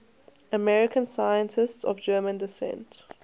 american scientists of german descent